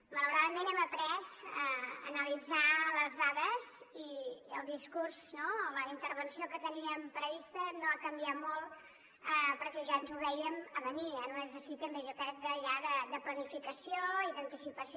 malauradament hem après a analitzar les dades i el discurs no la intervenció que teníem prevista no ha canviat molt perquè ja ens ho vèiem a venir en un exercici jo crec també ja de planificació i d’anticipació